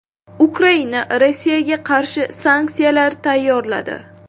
Ukraina Rossiyaga qarshi sanksiyalar tayyorladi.